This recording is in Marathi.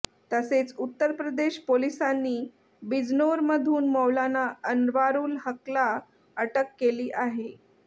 तसेच उत्तर प्रदेश पोलिसांनी बिजनोरमधून मौलाना अनवारुल हकला अटक केली आहे